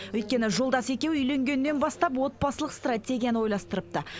өйткені жолдасы екеуі үйленгеннен бастап отбасылық стратегияны ойластырыпты